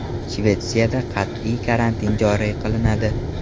Shvetsiyada qat’iy karantin joriy qilinadi.